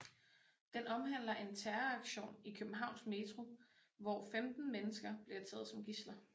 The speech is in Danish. Den omhandler en terroraktion i Københavns Metro hvor 15 mennesker bliver taget som gidsler